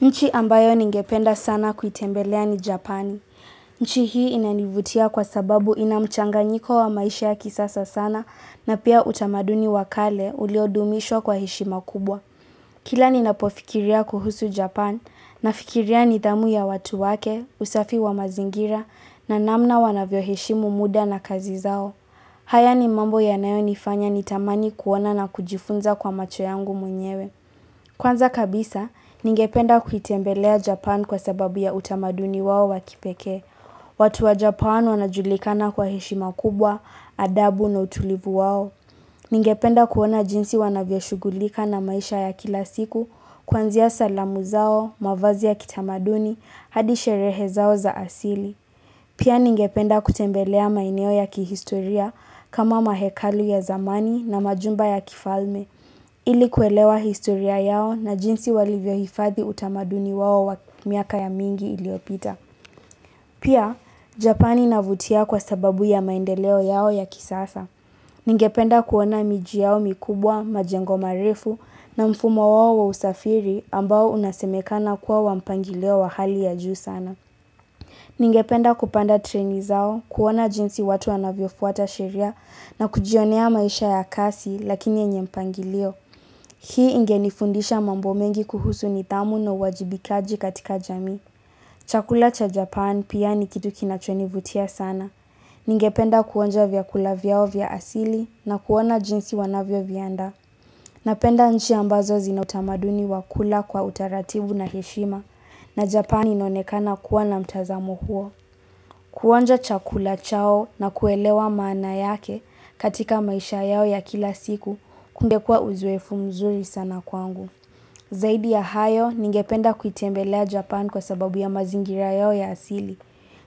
Nchi ambayo ningependa sana kuitembelea ni Japani. Nchi hii inanivutia kwa sababu inamchanganyiko wa maisha ya kisasa sana na pia utamaduni wakale ulio dumishwa kwa heshima kubwa. Kila ninapofikiria kuhusu Japan nafikiria nidhamu ya watu wake, usafi wa mazingira na namna wanavyo heshimu muda na kazi zao. Haya ni mambo yanayo nifanya nitamani kuona na kujifunza kwa macho yangu mwenyewe. Kwanza kabisa, ningependa kuitembelea Japan kwa sababu ya utamaduni wao wa kipekee. Watu wa Japan wanajulikana kwa heshima kubwa, adabu na utulivu wao. Ningependa kuona jinsi wanavyoshugulika na maisha ya kila siku kuanzia salamu zao, mavazi ya kitamaduni, hadi sherehe zao za asili. Pia ningependa kutembelea maeneo ya kihistoria kama mahekalu ya zamani na majumba ya kifalme. Ili kuelewa historia yao na jinsi walivyo hifadhi utamaduni wao wa miaka ya mingi iliopita. Pia, Japani inavutia kwa sababu ya maendeleo yao ya kisasa. Ningependa kuona miji yao mikubwa, majengo marefu na mfumo wao wa usafiri ambao unasemekana kuwa wa mpangilio wa hali ya juu sana. Ningependa kupanda treni zao, kuona jinsi watu wanavyo fuata sheria na kujionea maisha ya kasi lakini yenye mpangilio. Hii ingenifundisha mambo mengi kuhusu nidhamu na uwajibikaji katika jamii Chakula cha Japan pia ni kitu kinachonivutia sana. Ningependa kuonja vyakula vyao vya asili na kuona jinsi wanavyo viandaa. Napenda nchi ambazo zina utamaduni wa kula kwa utaratibu na heshima na Japan inaonekana kuwa na mtazamo huo. Kuonja chakula chao na kuelewa maana yake katika maisha yao ya kila siku kumekua uzoefu mzuri sana kwangu. Zaidi ya hayo ningependa kuitembelea Japan kwa sababu ya mazingira yao ya asili.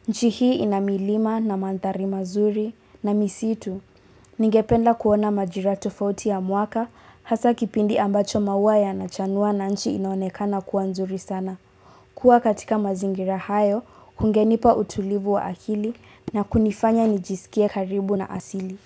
Nchi hii ina milima na mandhari mazuri na misitu. Ningependa kuona majiratofauti ya mwaka hasa kipindi ambacho maua yana chanua na nchi inaonekana kuwa nzuri sana. Kua katika mazingira hayo, kungenipa utulivu wa akili na kunifanya nijisikie karibu na asili.